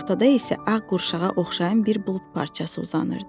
Ortada isə ağ qurşağa oxşayan bir bulud parçası uzanırdı.